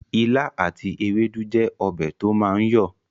Ìlà àti ewédú jẹ́ ọbẹ̀ to máa ń yọ